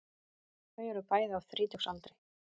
Þau eru bæði á þrítugsaldri